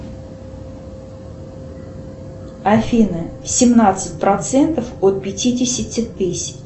афина семнадцать процентов от пятидесяти тысяч